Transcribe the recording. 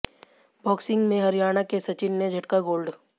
boxing में हरियाणा के सचिन ने झटका गोल्ड